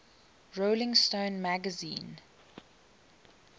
rolling stone magazine